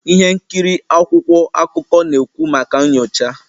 Ihe nkiri akwụkwọ akụkọ na-ekwu maka nyocha